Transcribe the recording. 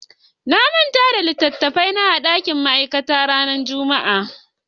Na manta da littattafan karatu na a dakin ma'aikata ranar Juma'a.